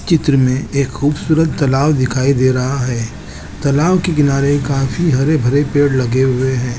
चित्र में एक खूबसूरत तलाब दिखाई दे रहा है तलाब के किनारे काफी हरे भरे पेड़ लगे हुए है।